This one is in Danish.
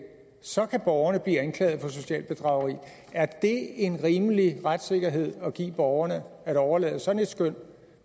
så kan borgerne blive anklaget for socialt bedrageri er det en rimelig retssikkerhed at give borgerne at overlade sådan et skøn